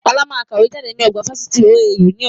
Ọlá máa kàwé jáde ní ọgbà Fáṣítì OAU ni ọ̀la